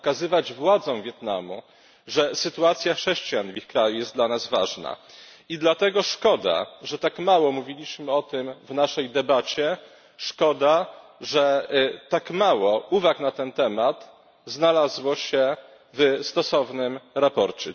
Pokazywać władzom Wietnamu, że sytuacja chrześcijan w ich kraju jest dla nas ważna i dlatego szkoda, że tak mało mówiliśmy o tym w naszej debacie, szkoda, że tak mało uwag na ten temat znalazło się w stosownym sprawozdaniu.